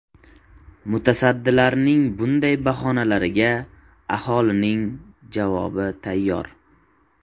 Mutasaddilarning bunday bahonalariga aholining javob tayyor.